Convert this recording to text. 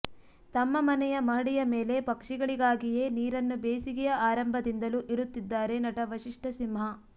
ತಮ್ಮ ಮನೆಯ ಮಹಡಿಯ ಮೇಲೆ ಪಕ್ಷಿಗಳಿಗಾಗಿಯೇ ನೀರನ್ನು ಬೇಸಿಗೆಯ ಆರಂಭದಿಂದಲೂ ಇಡುತ್ತಿದ್ದಾರೆ ನಟ ವಸಿಷ್ಠ ಸಿಂಹ